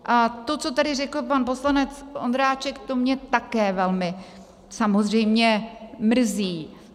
A to, co tady řekl pan poslanec Ondráček, to mě také velmi samozřejmě mrzí.